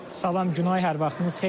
Salam Günay, hər vaxtınız xeyir.